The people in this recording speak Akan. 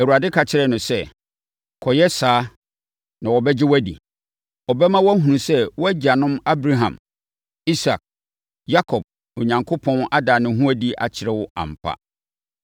Awurade ka kyerɛɛ no sɛ, “Kɔyɛ saa na wɔbɛgye wo adi. Ɛbɛma wɔahunu sɛ wo agyanom Abraham, Isak ne Yakob Onyankopɔn ada ne ho adi akyerɛ wo ampa.